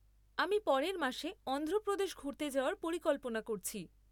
আমি পরের মাসে অন্ধ্রপ্রদেশ ঘুরতে যাওয়ার পরিকল্পনা করছি।